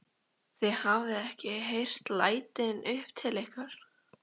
Þið hafið ekki heyrt lætin upp til ykkar?